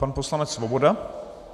Pan poslanec Svoboda.